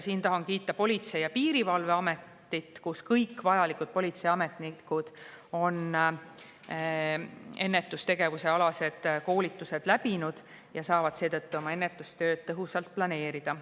Siin tahan kiita Politsei- ja Piirivalveametit, kus kõik politseiametnikud on ennetustegevuse koolitused läbinud ja saavad seetõttu oma ennetustööd tõhusalt planeerida.